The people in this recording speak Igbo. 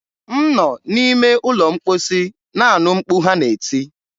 m nọ n'ime ụlọ mkposi na-anụ mkpu ha na-eti.